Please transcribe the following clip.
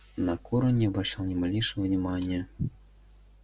на кур он не обращал ни малейшего внимания